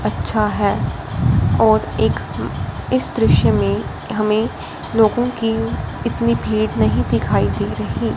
अच्छा है और एक इस दृश्य में हमें लोगों की इतनी भीड़ नहीं दिखाई दे रही।